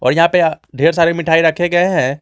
यहां पे ढेर सारी मिठाई रखे गए हैं।